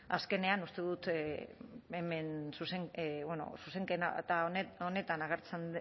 azkenean uste dut hemen zuzenketa honetan agertzen